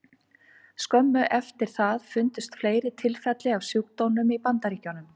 Skömmu eftir það fundust fleiri tilfelli af sjúkdómnum í Bandaríkjunum.